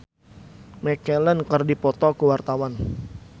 Indah Kalalo jeung Ian McKellen keur dipoto ku wartawan